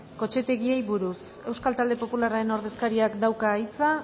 kotxetegiei buruz euskal talde popularraren ordezkariak dauka hitza